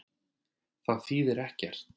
Það þýðir ekkert